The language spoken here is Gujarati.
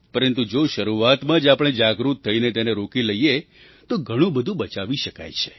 પરંતુ જો શરૂઆતમાં જ આપણે જાગૃત થઈને તેને રોકી લઈએ તો ઘણું બધું બચાવી શકાય છે